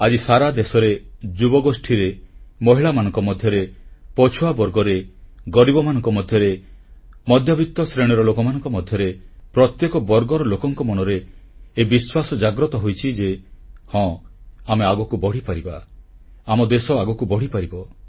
ଆଜି ସାରା ଦେଶରେ ଯୁବଗୋଷ୍ଠୀରେ ମହିଳାମାନଙ୍କ ମଧ୍ୟରେ ପଛୁଆବର୍ଗରେ ଗରିବମାନଙ୍କ ମଧ୍ୟରେ ମଧ୍ୟବିତ୍ତ ଶ୍ରେଣୀର ଲୋକଙ୍କ ମଧ୍ୟରେ ପ୍ରତ୍ୟେକ ବର୍ଗର ଲୋକଙ୍କ ମନରେ ଏହି ବିଶ୍ୱାସ ଜାଗ୍ରତ ହୋଇଛି ଯେ ହଁ ଆମେ ଆଗକୁ ବଢ଼ିପାରିବା ଆମ ଦେଶ ଆଗକୁ ବଢ଼ିପାରିବ